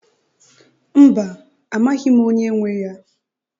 Mba, amaghị m onye nwe ya.